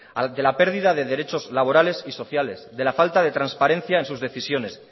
de la pérdida de derechos laborales y sociales de la falta de transparencia en sus decisiones